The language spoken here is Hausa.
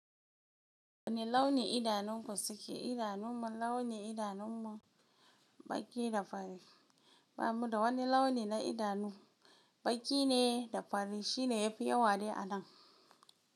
Wane launi idanunku suke? Idanun mu launi, idanun mu baƙi da fari. Ba mu da wani launi na idanu, baƙi ne da fari shine yafi yawa dai a nan.